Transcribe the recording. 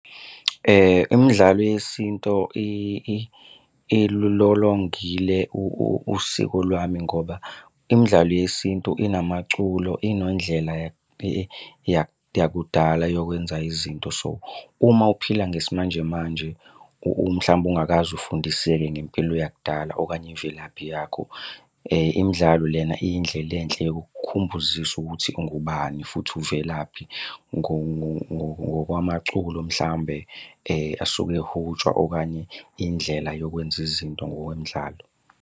Imidlalo yesintu ilulolongile usiko lwami ngoba imidlalo yesintu inamaculo inondlela yakudala yokwenza izinto. So, uma uphila ngesimanjemanje, mhlawumbe ungakaze ufundiseke ngempilo yakudala okanye imvelaphi yakho. Imidlalo lena iyindlela enhle yokukukhumbuzisa ukuthi ungubani futhi uvelaphi ngokwamaculo mhlawumbe asuke ehutshwa okanye indlela yokwenza izinto ngokwemidlalo.